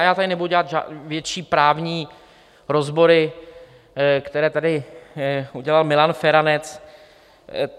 A já tady nebudu dělat větší právní rozbory, které tady udělal Milan Feranec.